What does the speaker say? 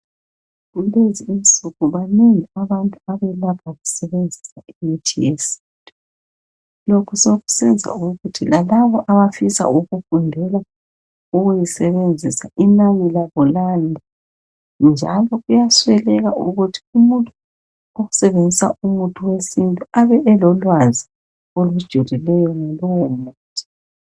Kulezi insuku banengi abantu abelapha besebenzisa imithi yesintu lokhu sokusenza ukuthi lalabo abafisa ukufundela ukuyisebenzisa inani labo lande njalo kuyasweleka ukuthi umuntu osebenzisa umuthi wesintu abe elolwazi olujulileyo ngalowo muthi.